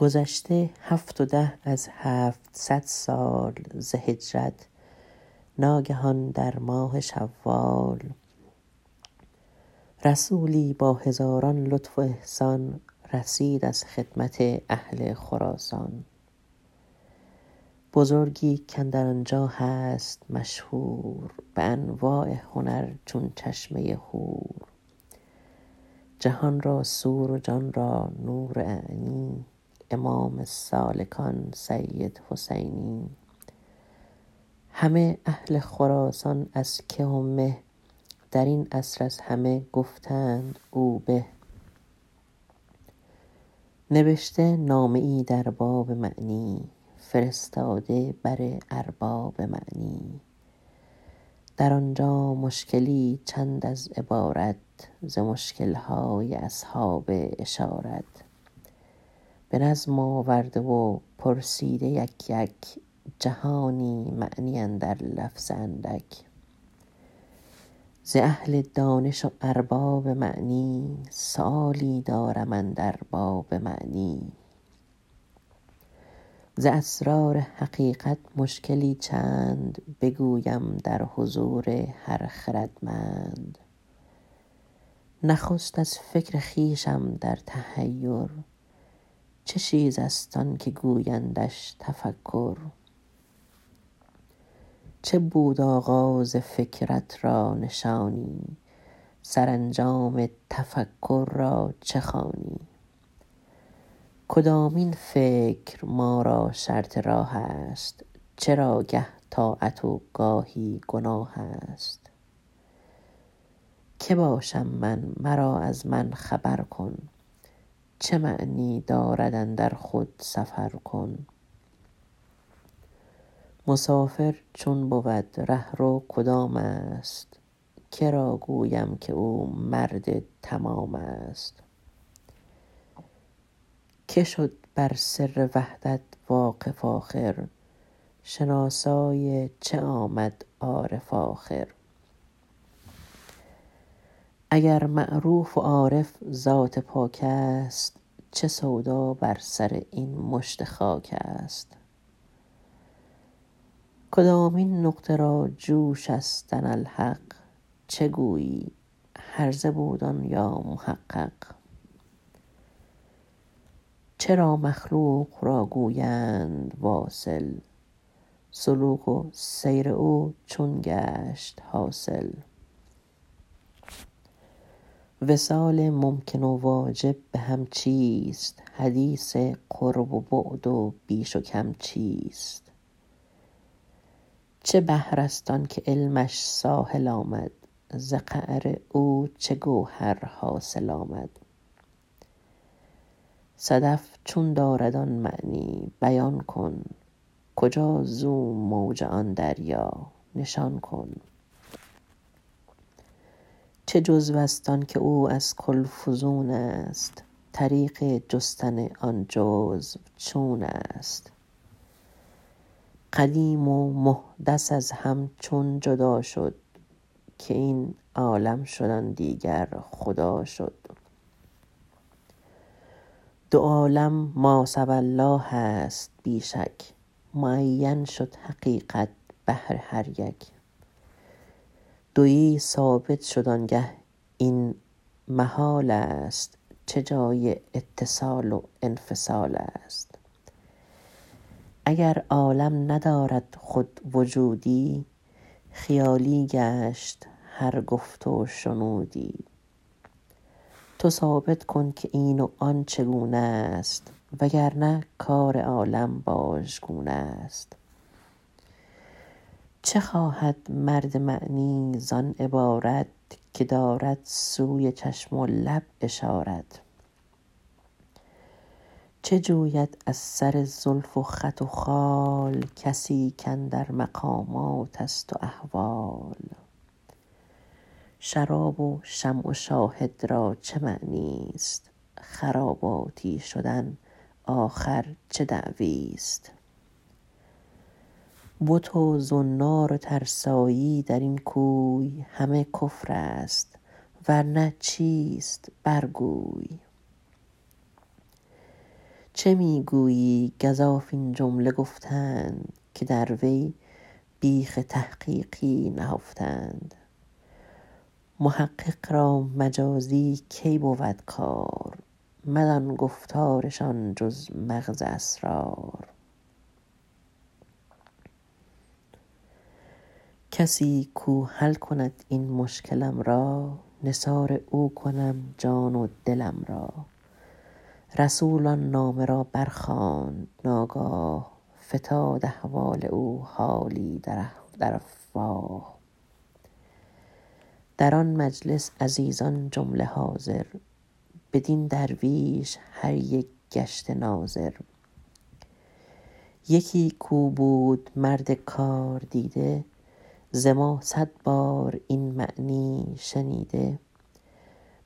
گذشته هفت و ده از هفتصد سال ز هجرت ناگهان در ماه شوال رسولی با هزاران لطف و احسان رسید از خدمت اهل خراسان بزرگی کاندر آنجا هست مشهور به انواع هنر چون چشمه هور جهان را سور و جان را نور اعنی امام سالکان سید حسینی همه اهل خراسان از که و مه در این عصر از همه گفتند او به نبشته نامه ای در باب معنی فرستاده بر ارباب معنی در آنجا مشکلی چند از عبارت ز مشکل های اصحاب اشارت به نظم آورده و پرسیده یک یک جهانی معنی اندر لفظ اندک ز اهل دانش و ارباب معنی سؤالی دارم اندر باب معنی ز اسرار حقیقت مشکلی چند بگویم در حضور هر خردمند نخست از فکر خویشم در تحیر چه چیز است آنکه گویندش تفکر چه بود آغاز فکرت را نشانی سرانجام تفکر را چه خوانی کدامین فکر ما را شرط راه است چرا گه طاعت و گاهی گناه است که باشم من مرا از من خبر کن چه معنی دارد اندر خود سفر کن مسافر چون بود رهرو کدام است که را گویم که او مرد تمام است که شد بر سر وحدت واقف آخر شناسای چه آمد عارف آخر اگر معروف و عارف ذات پاک است چه سودا بر سر این مشت خاک است کدامین نقطه را جوش است انا الحق چه گویی هرزه بود آن یا محقق چرا مخلوق را گویند واصل سلوک و سیر او چون گشت حاصل وصال ممکن و واجب به هم چیست حدیث قرب و بعد و بیش و کم چیست چه بحر است آنکه علمش ساحل آمد ز قعر او چه گوهر حاصل آمد صدف چون دارد آن معنی بیان کن کجا زو موج آن دریا نشان کن چه جزو است آن که او از کل فزون است طریق جستن آن جزو چون است قدیم و محدث از هم چون جدا شد که این عالم شد آن دیگر خدا شد دو عالم ما سوی الله است بی شک معین شد حقیقت بهر هر یک دویی ثابت شد آنگه این محال است چه جای اتصال و انفصال است اگر عالم ندارد خود وجودی خیالی گشت هر گفت و شنودی تو ثابت کن که این و آن چگونه است وگرنه کار عالم باژگونه است چه خواهد مرد معنی زان عبارت که دارد سوی چشم و لب اشارت چه جوید از سر زلف و خط و خال کسی کاندر مقامات است و احوال شراب و شمع و شاهد را چه معنی است خراباتی شدن آخر چه دعوی است بت و زنار و ترسایی در این کوی همه کفر است ورنه چیست بر گوی چه می گویی گزاف این جمله گفتند که در وی بیخ تحقیقی نهفتند محقق را مجازی کی بود کار مدان گفتارشان جز مغز اسرار کسی کو حل کند این مشکلم را نثار او کنم جان و دلم را رسول آن نامه را برخواند ناگاه فتاد احوال او حالی در افواه در آن مجلس عزیزان جمله حاضر بدین درویش هر یک گشته ناظر یکی کو بود مرد کاردیده ز ما صد بار این معنی شنیده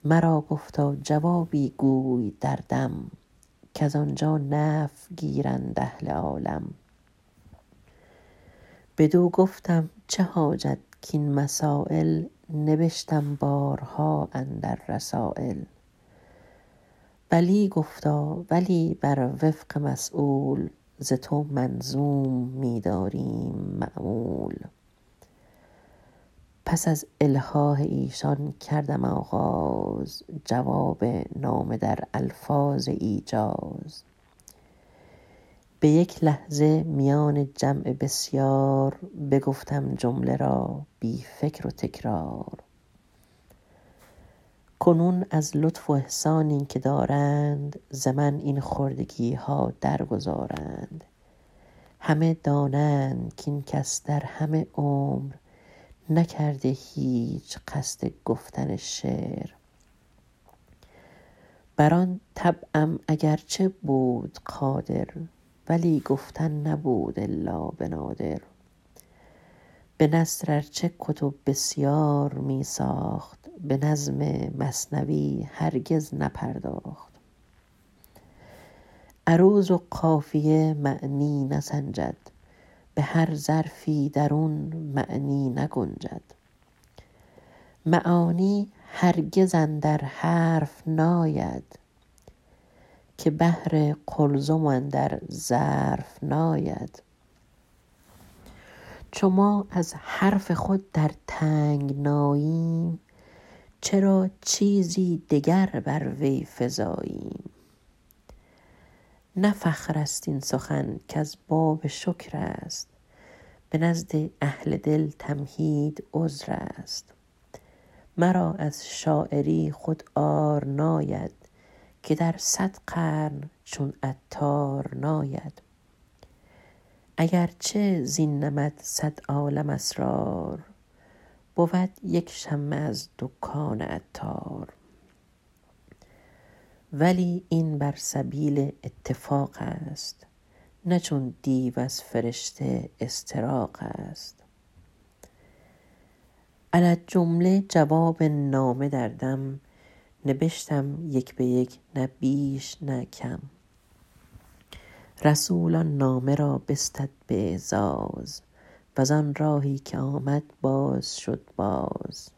مرا گفتا جوابی گوی در دم کز آنجا نفع گیرند اهل عالم بدو گفتم چه حاجت کین مسایل نبشتم بارها اندر رسایل بلی گفتا ولی بر وفق مسیول ز تو منظوم می داریم مأمول پس از الحاح ایشان کردم آغاز جواب نامه در الفاظ ایجاز به یک لحظه میان جمع بسیار بگفتم جمله را بی فکر و تکرار کنون از لطف و احسانی که دارند ز من این خردگی ها در گذارند همه دانند کین کس در همه عمر نکرده هیچ قصد گفتن شعر بر آن طبعم اگر چه بود قادر ولی گفتن نبود الا به نادر به نثر ارچه کتب بسیار می ساخت به نظم مثنوی هرگز نپرداخت عروض و قافیه معنی نسنجد به هر ظرفی درون معنی نگنجد معانی هرگز اندر حرف ناید که بحر قلزم اندر ظرف ناید چو ما از حرف خود در تنگناییم چرا چیزی دگر بر وی فزاییم نه فخر است این سخن کز باب شکر است به نزد اهل دل تمهید عذر است مرا از شاعری خود عار ناید که در صد قرن چون عطار ناید اگرچه زین نمط صد عالم اسرار بود یک شمه از دکان عطار ولی این بر سبیل اتفاق است نه چون دیو از فرشته استراق است علی الجمله جواب نامه در دم نبشتم یک به یک نه بیش نه کم رسول آن نامه را بستد به اعزاز وز آن راهی که آمد باز شد باز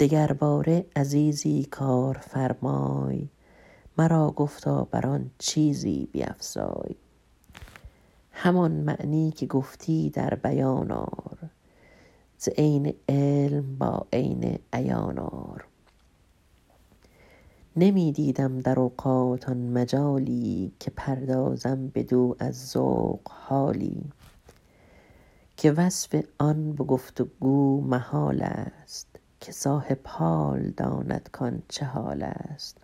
دگرباره عزیزی کار فرمای مرا گفتا بر آن چیزی بیفزای همان معنی که گفتی در بیان آر ز عین علم با عین عیان آر نمی دیدم در اوقات آن مجالی که پردازم بدو از ذوق حالی که وصف آن به گفت و گو محال است که صاحب حال داند کان چه حال است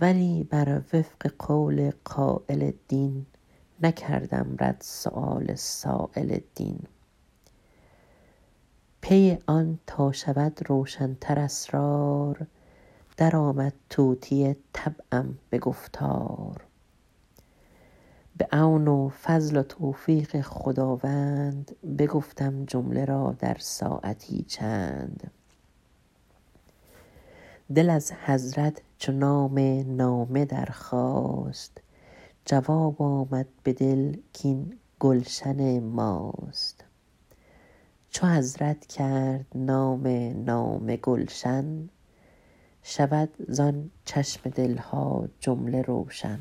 ولی بر وفق قول قایل دین نکردم رد سؤال سایل دین پی آن تا شود روشن تر اسرار درآمد طوطی طبعم به گفتار به عون و فضل و توفیق خداوند بگفتم جمله را در ساعتی چند دل از حضرت چو نام نامه درخواست جواب آمد به دل کین گلشن ماست چو حضرت کرد نام نامه گلشن شود زان چشم دل ها جمله روشن